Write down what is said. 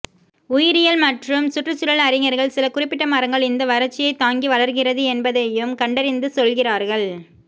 உயிரியல் மற்றும் சுற்றுச்சூழல் அறிஞர்கள் சில குறிப்பிட்ட மரங்கள் இந்த வறட்சியை தாங்கி வளர்கிறது என்பதையும் கண்டறிந்து சொல்கிறார்கள்